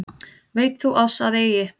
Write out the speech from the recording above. Veit þú að oss eigi